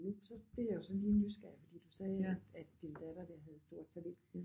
Nu så bliver jeg jo så lige nysgerrig fordi du sagde at at din datter der havde stort talent